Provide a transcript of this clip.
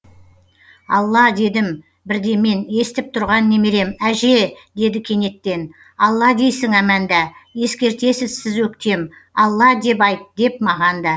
алла дедім бірде мен естіп тұрған немерем әже деді кенеттен алла дейсің әманда ескертесіз сіз өктем алла деп айт деп маған да